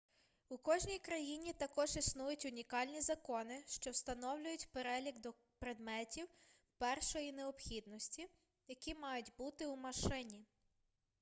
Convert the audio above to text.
у кожній країні також існують унікальні закони що встановлюють перелік предметів першої необхідності які мають бути у машині